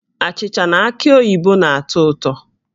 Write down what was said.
Achịcha na aki oyibo na-atọ ụtọ